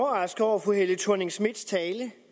overrasket over fru helle thorning schmidts tale